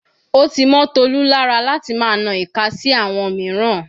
Ó ti mọ́ Tolu lára láti máa na ìka sí àwọn mìíràn.